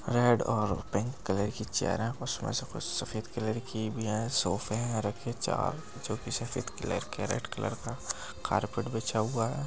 Red और pink colour की chair हैं उसमें से कुछ सफेद कलर की भी हैं। सोफे हैं रखें चार जो कि सफेद कलर के रेड कलर का कार्पेट बिछा हुआ है।